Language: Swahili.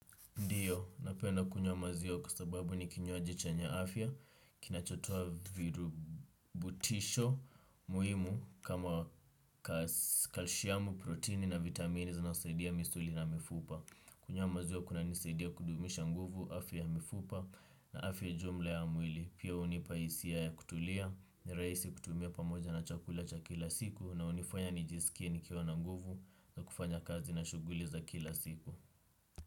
Ndiyo, napenda kunywa maziwa kuasababu ni kinyoaji chenye afya, kinachotua virubutisho muhimu kama kalshiamu, proteini na vitamini zinasaidia misuli na mifupa. Kunywa maziwa kuna nisaidia kudumisha nguvu, afya ya mifupa na afya jumla ya mwili. Pia unipaisia ya kutulia, niraisi kutumia pamoja na chakula cha kila siku na unifanya nijisikie nikiwa na nguvu na kufanya kazi na shuguli za kila siku.